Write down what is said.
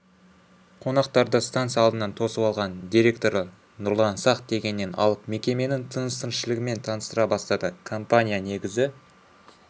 қонақтарды станса алдынан тосып алған директоры нұрлан сақ дегеннен алып мекеменің тыныс-тіршілігімен таныстыра бастады компания негізі